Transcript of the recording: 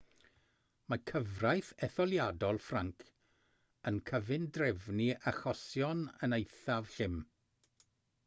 mae cyfraith etholiadol ffrainc yn cyfundrefnu achosion yn eithaf llym